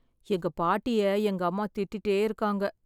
எங்க பாட்டிய எங்க அம்மா திட்டிட்டே இருக்காங்க.